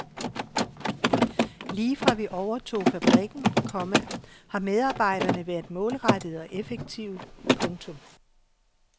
Lige fra vi overtog fabrikken, komma har medarbejderne været målrettede og effektive. punktum